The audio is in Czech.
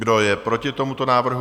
Kdo je proti tomuto návrhu?